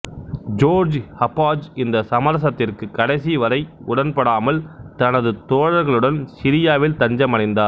George Habash இந்த சமரசத்திற்கு கடைசி வரை உடன்படாமல் தனது தோழர்களுடன் சிரியாவில் தஞ்சமடைந்தார்